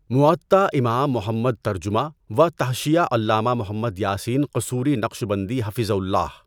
مُؤَطّا امام محمد ترجمہ و تحشیہ علامہ محمد یٰسین قصوری نقشبندی حَفِظَہُ الله